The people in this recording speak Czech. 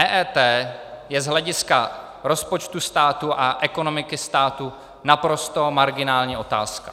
EET je z hlediska rozpočtu státu a ekonomiky státu naprosto marginální otázka.